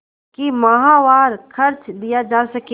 कि माहवार खर्च दिया जा सके